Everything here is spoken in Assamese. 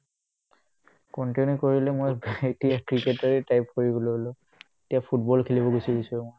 continue কৰিলে মই এতিয়া ক্ৰিকেটাৰে type কৰি গ'লো এতিয়া ফুটবল খেলিবলৈ গুচি আহিছো মই